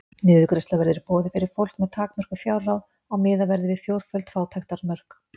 Niðurgreiðsla verður í boði fyrir fólk með takmörkuð fjárráð og miðað verður við fjórföld fátæktarmörk.